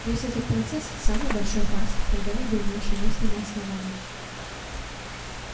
весь этот процесс самый большой фарс когда-либо имевший место на основании